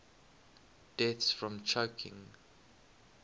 deaths from choking